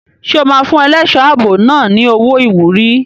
Ṣé o máa fún ẹlẹ́ṣọ̀ ààbò náà ní owó ìwúrí?